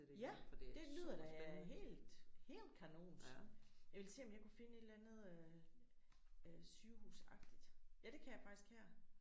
Ja det lyder da helt helt kanont. Jeg ville se om jeg kunne finde et eller andet øh sygehusagtigt ja det kan jeg faktisk her